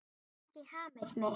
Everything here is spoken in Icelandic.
Ég fæ ekki hamið mig.